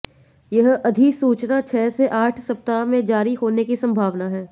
यह अधिसूचना छह से आठ सप्ताह में जारी होने की संभावना है